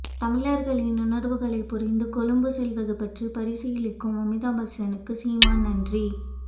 தமிழர்களின் உணர்வுகளைப்புரிந்து கொழும்பு செல்வது பற்றி பரீசீலிக்கும் அமிதாப் பச்சனுக்கு சீமான் நன்றி